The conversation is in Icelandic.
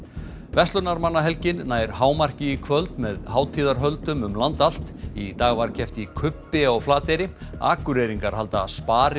verslunarmannahelgin nær hámarki í kvöld með hátíðarhöldum um land allt í dag var keppt í kubbi á Flateyri Akureyringar halda